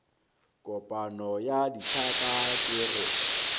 kopanyo ya ditlhaka ke go